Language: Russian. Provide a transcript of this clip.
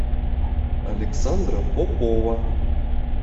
александра попова